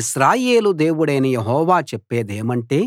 ఇశ్రాయేలు దేవుడైన యెహోవా చెప్పేదేమంటే